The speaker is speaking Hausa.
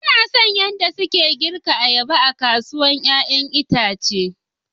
Ba na son yadda suke girka ayaba a kasuwar 'ya'yan itace.